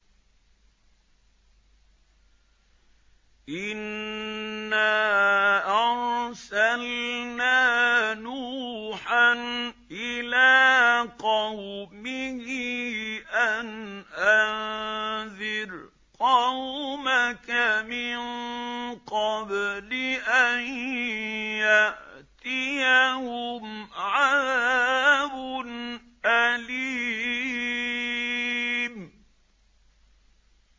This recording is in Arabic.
إِنَّا أَرْسَلْنَا نُوحًا إِلَىٰ قَوْمِهِ أَنْ أَنذِرْ قَوْمَكَ مِن قَبْلِ أَن يَأْتِيَهُمْ عَذَابٌ أَلِيمٌ